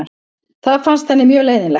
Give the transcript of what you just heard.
Það fannst henni mjög leiðinlegt.